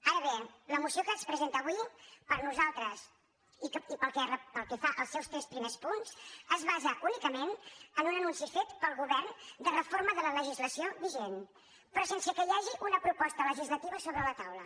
ara bé la moció que es presenta avui per nosaltres i pel que fa als seus tres primers punts es basa únicament en un anunci fet pel govern de reforma de la legislació vigent però sense que hi hagi una proposta legislativa sobre la taula